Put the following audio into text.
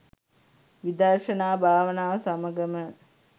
විදර්ශනා භාවනාව සමඟම